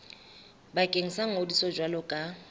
bakeng sa ngodiso jwalo ka